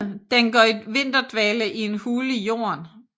Den går i vinterdvale i en hule i jorden